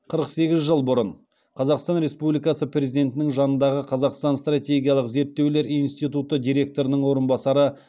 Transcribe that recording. қырық сегіз жыл бұрын қазақстан республикасы президентінің жанындағы қазақстан стратегиялық зерттеулер институты директорының орынбасары